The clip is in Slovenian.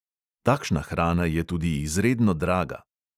Takšna hrana je tudi izredno draga.